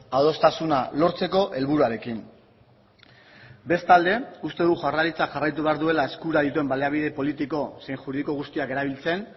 adostasuna lortzeko helburuarekin bestalde uste dut jaurlaritzak jarraitu behar duela eskura dituen baliabide politiko zein juridiko guztiak erabiltzen